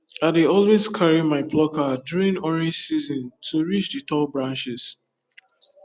i dey always carry my plucker during orange season to reach the tall branches